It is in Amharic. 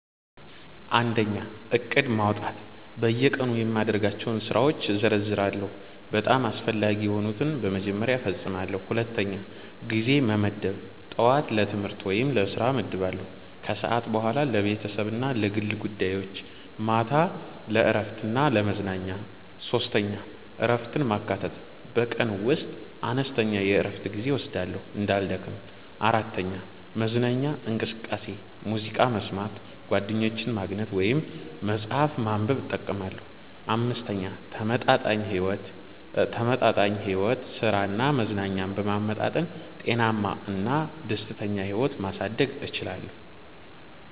1. ዕቅድ ማውጣት በየቀኑ የማደርጋቸውን ስራዎች እዘርዝራለሁ፤ በጣም አስፈላጊ የሆኑትን በመጀመሪያ እፈጽማለሁ። 2. ጊዜ መመደብ ጠዋት ለትምህርት/ስራ እመድባለሁ ከሰዓት በኋላ ለቤተሰብ እና ለግል ጉዳዮች ማታ ለእረፍት እና ለመዝናኛ 3. እረፍትን ማካተት በቀን ውስጥ አነስተኛ የእረፍት ጊዜ እወስዳለሁ እንዳልደክም። 4. መዝናኛ እንቅስቃሴ ሙዚቃ መስማት፣ ጓደኞችን ማግኘት ወይም መጽሐፍ ማንበብ እጠቀማለሁ። 5. ተመጣጣኝ ሕይወት ሥራ እና መዝናኛን በመመጣጠን ጤናማ እና ደስተኛ ሕይወት ማሳደግ እችላለሁ።